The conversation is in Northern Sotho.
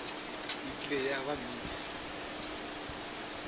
e kile ya ba miss